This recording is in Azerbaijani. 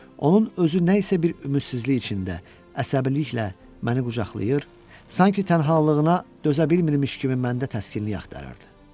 Onun özü nə isə bir ümidsizlik içində, əsəbiliklə məni qucaqlayır, sanki tənhalığına dözə bilmirmiş kimi məndə təskinlik axtarırdı.